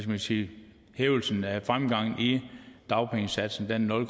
man sige hævelsen af og fremgangen i dagpengesatsen er nul